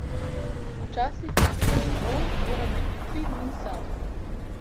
Včasih, ko pridem domov, moram biti tri dni sam.